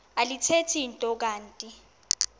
alithethi nto kanti